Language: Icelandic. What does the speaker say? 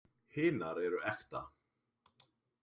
Hinar eru ekta.